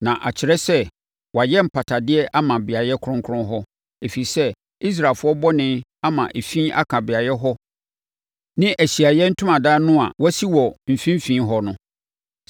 Na ɛkyerɛ sɛ, wayɛ mpatadeɛ ama beaeɛ kronkron hɔ, ɛfiri sɛ, Israelfoɔ bɔne ama efi aka beaeɛ hɔ ne Ahyiaeɛ Ntomadan no a wɔasi wɔ wɔn mfimfini hɔ no.